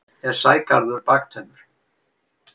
er sægarður baktaumur